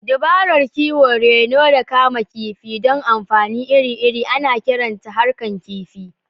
Dabarar kiwo, reno, da kama kifi don amfani iri-iri ana kiranta harkan kifi.